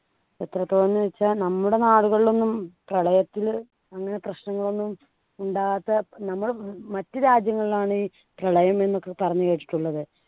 എത്രത്തോളം ന്നു വെച്ചാ നമ്മുടെ നാടുകളിലൊന്നും പ്രളയത്തില് അങ്ങനെ പ്രശ്നങ്ങളൊന്നും ഉണ്ടാകാത്ത നമ്മള് മറ്റ് രാജ്യങ്ങളിലാണ് പ്രളയം എന്നൊക്കെ പറഞ്ഞു കേട്ടിട്ടുള്ളത്